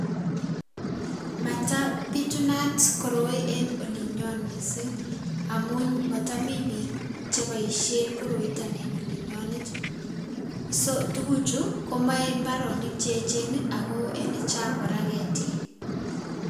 Matabitunat koroi en olinyon missing' amun motomi mi biik chebosien koroiton en olinyonet so tuguchu komoe mbarenik cheechen ii ako ilechang' kora ketik.